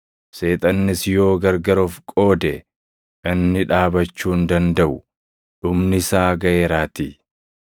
Seexannis yoo gargar of qoode, inni dhaabachuu hin dandaʼu; dhumni isaa gaʼeeraatii.